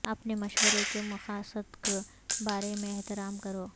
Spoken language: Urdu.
اپنے مشورے کے مقاصد کے بارے میں احترام کرو